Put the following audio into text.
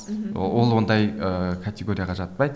мхм ол ондай ыыы категорияға жатпайды